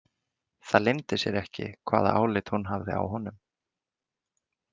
Það leyndi sér ekki hvaða álit hún hafði á honum.